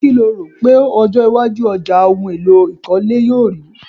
Kí lo rò pé ọjọ́ iwájú ọjà ohun èlò ìkólé yóò rì í?